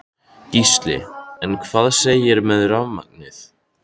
Gísli: En hvað segirðu með rafmagnið?